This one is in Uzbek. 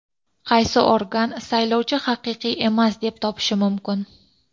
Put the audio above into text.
Qaysi organ saylovni haqiqiy emas deb topishi mumkin?.